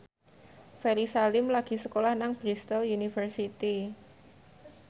Ferry Salim lagi sekolah nang Bristol university